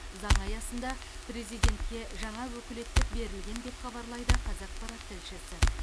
заңы аясында президентке жаңа өкілеттік берілген деп хабарлайды қазақпарат тілшісі